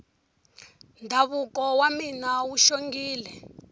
ndhavuko wa mina wu xongile